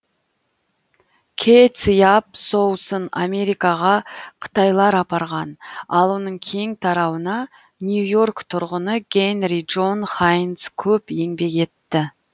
кэ циап соусын америкаға қытайлар апарған ал оның кең тарауына нью йорк тұрғыны генри джон хайнц көп еңбек етті